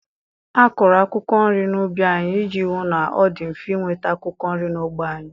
A kụrụ akwụkwọ nri n'ubi anyị iji hụ na ọ dị mfe ịnweta akwụkwọ nri n'ógbè anyị.